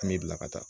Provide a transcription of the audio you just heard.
An me bila ka taa